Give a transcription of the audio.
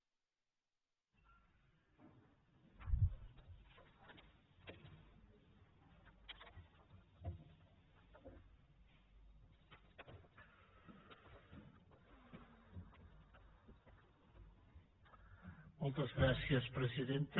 moltes gràcies presidenta